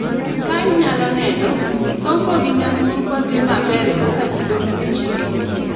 Ka inyalo neno, sombo gi nyamburko dhi maber kaka ji dok e chiro.